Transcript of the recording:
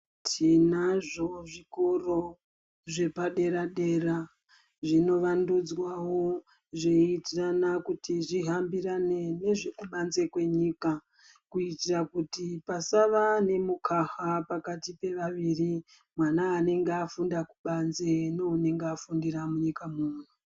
Tinazvo zvikoro, zvepadera-dera, zvinovandudzwawo, zveiitirana kuti zvihambirane nezvekubanze kwenyika, kutira kuti pasava nemukaha pakati pevaviri ,mwana anenga afunda kubanze neunenga afundira munyika muno.